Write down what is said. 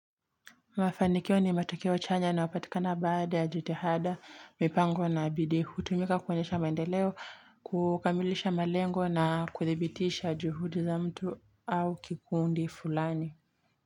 Mafanikio ni matokeo chanya yanayopatikana baada ya jitihada, mipango na bidii, Hutumika kuonyesha maendeleo, kukamilisha malengo na kudhibitisha juhudi za mtu au kikundi fulani.